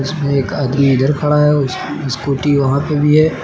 एक आदमी इधर खड़ा है स्कूटी वहां पे भी है।